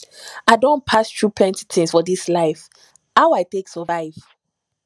i don pass through plenty tins for dis life how i take survive